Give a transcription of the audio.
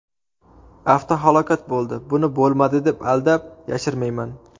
Avtohalokat bo‘ldi, buni bo‘lmadi deb aldab, yashirmayman.